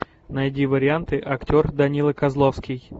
найди варианты актер данила козловский